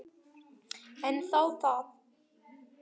En þá það.